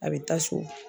A bɛ taa so